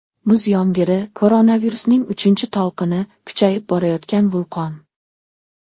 Muz yomg‘iri, koronavirusning uchinchi to‘lqini, kuchayib borayotgan vulqon.